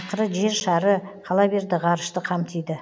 ақыры жер шары қала берді ғарышты қамтиды